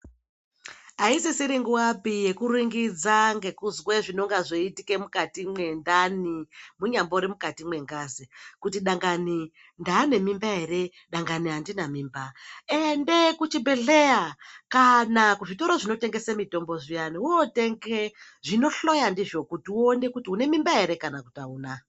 Aisisiri nguwapi yekuringidza ngekuzwe zvinenge zveitika mukati mwendani munyambori mukati mwengazi kuti dangani ndanemimba ere dangani andina mimba ende kuchibhehleya kana kuzvitoro zvinotengese mutombo zviyani wotenge zvinohloya ndizvo kuti uone kuti une mimba ere kana kuti auna.